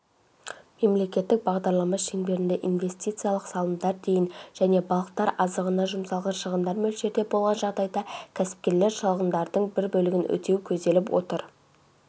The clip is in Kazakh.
мемлекеттік бағдарлама шеңберінде инвестициялық салымдар дейін және балықтар азығына жұмсалған шығындар мөлшерде болған жағдайда кәсіпкерлер шығындарының бір бөлігін өтеу көзделіп отыр